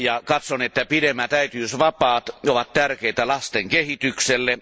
Katson, että pidemmät äitiysvapaat ovat tärkeitä lasten kehitykselle.